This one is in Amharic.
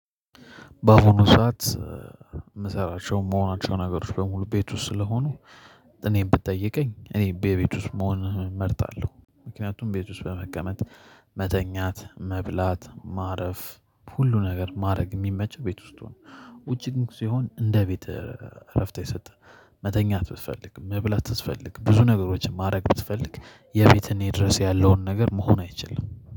በአሁኑ ሰዓት የምሰራቸው መሆናቸው ነገሮች በሙሉ ቤት ውስጥ ስለሆኑ እኔም ብትጠይቀኝ እኔ ቤት ውስጥ መሆን እመርጣለሁ ምክንያቱም ቤት ውስጥ በመቀመጥ መተኛት መብላት ማረፍ ሁሉ ነገር ማድረግ የሚመቸው ቤት ውስጥ ሁን። ውጪ ግን ሲሆን እንደ ቤት እረፍት የሰጠ መተኛት ብትፈልግ መብላት ብትፈልግ ብዙ ነገሮችን ማድረግ ብትፈልግ የፊት እኔ ድረስ ያለውን ነገር መሆን አይችልም